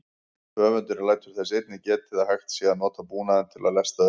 Höfundurinn lætur þess einnig getið að hægt sé að nota búnaðinn til að lesta skip.